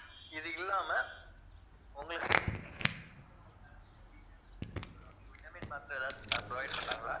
இது இல்லாம உங்களுக்கு vitamin மாத்திரை எதாவது provide பண்ணாங்களா